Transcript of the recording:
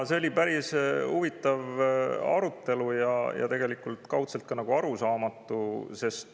See oli päris huvitav arutelu, mis kaudselt arusaamatuks.